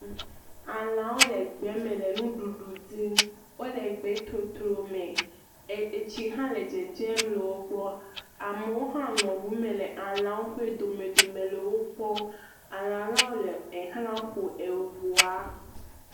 Alẽwo le gbe me le nuɖuɖu dim, wole gbe totro me, e tsi hã le dzedzem le wo gbɔ. Amewo hã nɔ ŋu me le alẽawo ƒe dome dome le wo kpɔm. Alẽa lawo le xlã ƒom ŋua.